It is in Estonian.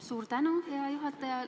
Suur tänu, hea juhataja!